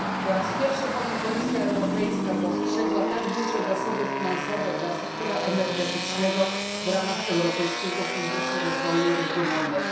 Po raz pierwszy bowiem Komisja Europejska przeznaczyła tak duże zasoby finansowe dla sektora energetycznego w ramach Europejskiego Funduszu Rozwoju Regionalnego.